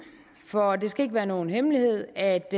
for det skal ikke være nogen hemmelighed at